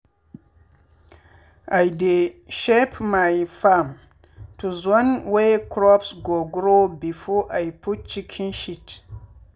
i dey shape my farm to zone wey crops go grow before i put chicken shit.